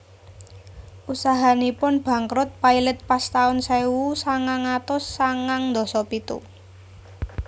Usahanipun bangkrut pailit pas taun sewu sangang atus sangang ndasa pitu